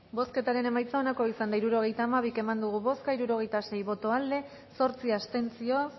bozketaren emaitza onako izan da hirurogeita hamalau eman dugu bozka hirurogeita sei boto aldekoa zortzi abstentzio